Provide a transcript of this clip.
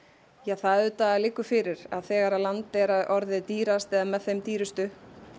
það auðvitað liggur fyrir að þegar land er orðið dýrast eða með þeim dýrustu